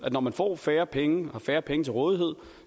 at når man får færre penge færre penge til rådighed